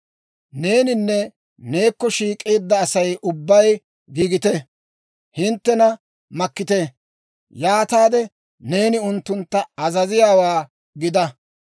« ‹Neeninne neekko shiik'eedda Asay ubbay giigite; hinttena makkite. Yaataade neeni unttuntta azaziyaawaa gida.